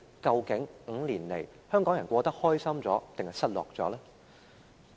究竟這5年來，香港人生活得比較開心，還是比較失落呢？